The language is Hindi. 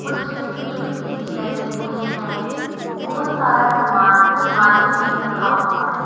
कुछ एक सीढ़ी लगी हुई है बहुत सारा सामान अलमारी में रखा हुआ है।